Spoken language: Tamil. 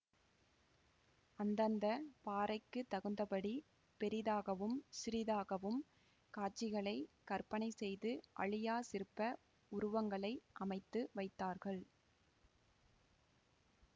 அந்தந்த பாறைக்குத் தகுந்தபடி பெரிதாகவும் சிறிதாகவும் காட்சிகளை கற்பனை செய்து அழியாச் சிற்ப உருவங்களை அமைத்து வைத்தார்கள்